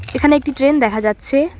এখানে একটি ট্রেন দেখা যাচ্ছে।